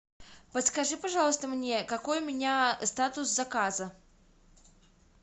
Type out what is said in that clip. подскажи пожалуйста мне какой у меня статус заказа